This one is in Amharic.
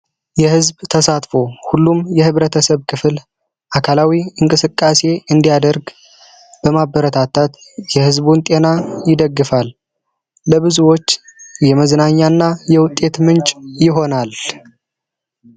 የህዝብ ተሳትፎ ሁሉም የማህበረሰብ ክፍል አካላዊ እንቅስቃሴ እንዲያደርግ በማበረታታት የህዝቡን ጤና ይደክፍል ለብዙዎች የመዝናኛና የውጤት ምንጭ ይሆናል።